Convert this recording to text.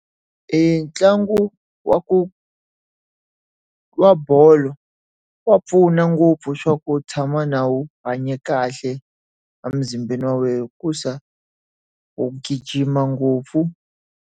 E ntlangu wa ku, wa bolo wa pfuna ngopfu swa ku tshama na wu hanya kahle amuzimbeni wa wena hikuva u gijima ngopfu.